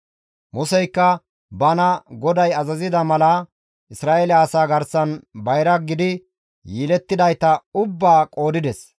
Museykka bana GODAY azazida mala Isra7eele asaa garsan bayra gidi yelettidayta ubbaa qoodides.